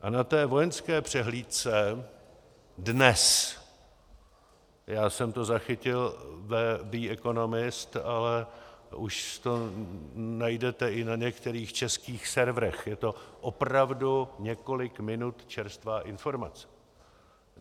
A na té vojenské přehlídce dnes - já jsem to zachytil v The Economist, ale už to najdete i na některých českých serverech, je to opravdu několik minut čerstvá informace.